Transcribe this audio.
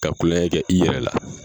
Ka kulon kɛ i yɛrɛ la